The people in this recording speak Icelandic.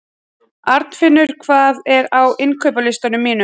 Arnfinnur, hvað er á innkaupalistanum mínum?